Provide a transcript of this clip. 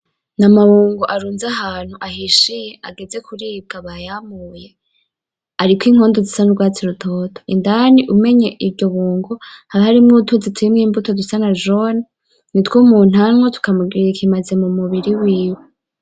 N,amabungo arunze ahantu ahishiye ageze kuribwa bayamuye ariko inkondo zisa nurwatsi rutoto indani umenye iryo bungo haba harimwo utuzi turimwo imbuto zisa na jone nitwo umuntu anywa tukamugirira ikimazi mumubiri wiwe .